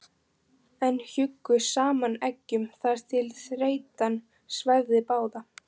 en hjuggu saman eggjum þar til þreytan svæfði báða.